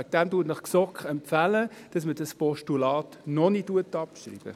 Deshalb empfiehlt Ihnen die GSoK, dieses Postulat noch nicht abzuschreiben.